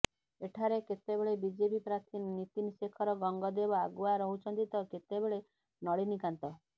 ଏଠାରେ କେତେବେଳେ ବିଜେପି ପ୍ରାର୍ଥୀ ନିତୀନ ଶେଖର ଗଙ୍ଗଦେବ ଆଗୁଆ ରହୁଛନ୍ତି ତ କେତେବେଳେ ନଳିନୀକାନ୍ତ